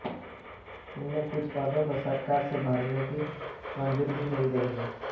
इनमें कुछ पदों को सरकार से भरने की मंजूरी भी मिल गई है